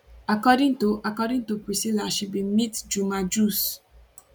according to according to priscilla she bin meet juma jux